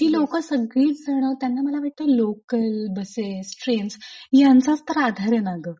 ती लोक सगळीच जण त्यांना मला वाटत लोकल लोकल बसेस ट्रेन्स यांचाच तर आधार ए ना गं?